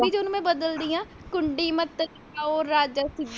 ਚ ਉਹਨੂੰ ਮੈਂ ਬਦਲਦੀ ਹਾ ਕੁੰਡੀ ਮਤ ਖੜਕਾਓ ਰਾਜਾ।